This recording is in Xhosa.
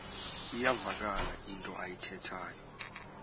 iyavakala into ayithethayo